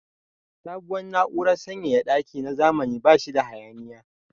Sabuwar na'urar sanyaya daki na zamani ba shi da hayaniya.